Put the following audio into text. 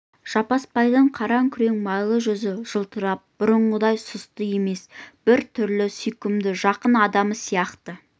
жаппасбайдың қара күрең майлы жүзі жылтырап бұрынғыдай сұсты емес бір түрлі сүйкімді жақын адамы сияқты